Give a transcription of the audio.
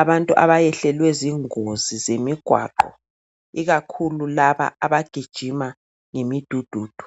abantu abayehlelwe zingozi zemigwaqo, ikakhulu laba abagijima ngemidududu.